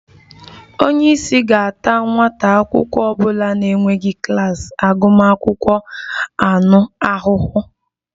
Onye isi ga-ata nwa akwụkwọ ọ bụla na-enweghị klas agụmakwụkwọ anụ ahụ ahụhụ